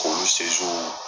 K'olu